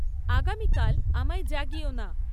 আগামীকাল আমায় জাগিয়ো না